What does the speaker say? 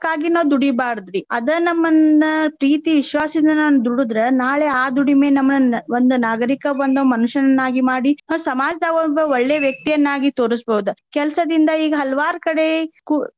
ನಾವ್ ದುಡಿಬಾರ್ದಿ. ಅದ ನಮ್ಮನ್ನ ಪ್ರೀತಿ ವಿಶ್ವಾಸದಿಂದ ನಾನ್ ದುಡದ್ರ ನಾಳೆ ಆ ದುಡಿಮೆ ನಮ್ಮನ್ ಒಂದ್ ನಾಗರಿಕ ಒಂದ್ ಮನುಷ್ಯನನ್ನಾಗಿ ಮಾಡಿ ಆ ಸಮಾಜದಾಗೊಬ್ಬ ಒಳ್ಳೇ ವ್ಯಕ್ತಿಯನ್ನಾಗಿ ತೋರಸ್ಬಹುದ್. ಕೆಲ್ಸದಿಂದ ಈಗ ಹಲವಾರ್ ಕಡೆ ಕು~.